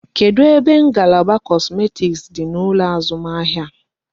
Kedụ ebe ngalaba kosmetik dị n'ụlọ azụmahịa?